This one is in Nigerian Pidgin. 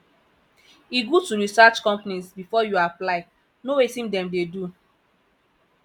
e good to research companies before you apply know wetin dem dey do